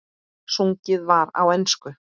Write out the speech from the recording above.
Sungið var á ensku.